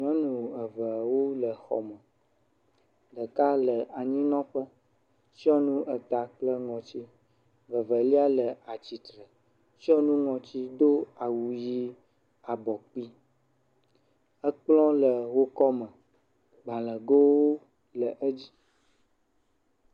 Nyɔnu eveawo le xɔ me, ɖeka le anyimlɔƒe tsyɔ̃ nu eta kple ŋɔtsi, vevelia le atsitre tsyɔ̃ nu ŋɔtsi do awu ʋi abɔ kpui, ekplɔ le wò kɔme, gbalẽgowo le edzi.